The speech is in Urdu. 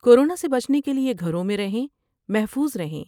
کورونا سے بچنے کے لئے گھروں میں رہیں محفوظ رہیں ۔